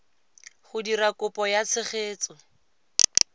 go dira kopo ya tshegetso